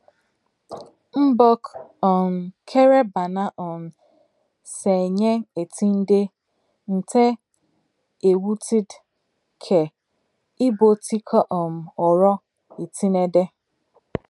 Mbọk um kere ban̄a um se enye etịn̄de nte ẹwụtde ke ibuotikọ um oro etienede.